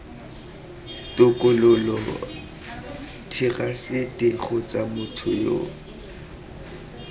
tokololo therasete kgotsa motho yo